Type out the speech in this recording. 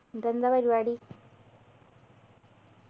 എന്നിട്ടെന്താ പരിപാടി